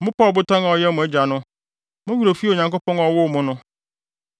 Mopaa Ɔbotan a ɔyɛɛ mo agya no. Mo werɛ fii Onyankopɔn a ɔwoo mo no.